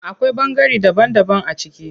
Akwai ɓangare daban daban a ciki.